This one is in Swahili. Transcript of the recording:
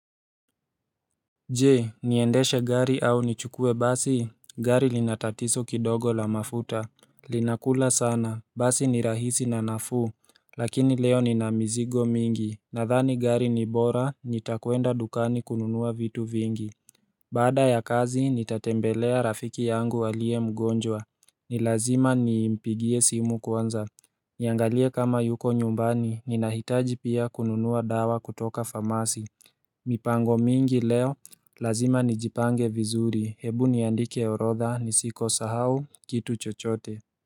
Je niendeshe gari au nichukue basi? Gari lina tatizo kidogo la mafuta Linakula sana Basi ni rahisi na nafuu Lakini leo nina mizigo mingi nadhani gari ni bora nitakwenda dukani kununua vitu vingi Baada ya kazi nitatembelea rafiki yangu aliye mgonjwa ni lazima nimpigie simu kwanza Niangalie kama yuko nyumbani ninahitaji pia kununua dawa kutoka famasi mipango mingi leo lazima nijipange vizuri hebu niandike orodha ni siko sahau kitu chochote.